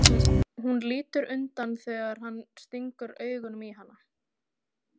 Hún lítur undan þegar hann stingur augunum í hana.